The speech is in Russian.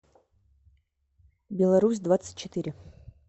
беларусь двадцать четыре